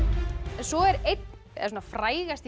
svo er er frægasti